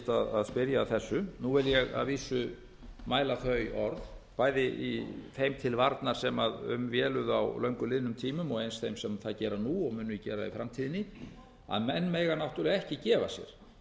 fullgilt að spyrja að þessu nú vil ég að vísu mæla þau orð bæði þeim til varnar sem um véluðu á löngu liðnum tímum og eins þeim sem það gera nú og munu gera það í framtíðinni að menn mega náttúrlega ekki gefa sér